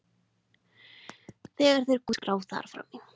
Þegar þeir komu á Hótel Reykjavík lá nýútkomin Dagskrá þar frammi.